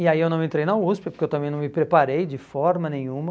E aí eu não entrei na USP porque eu também não me preparei de forma nenhuma.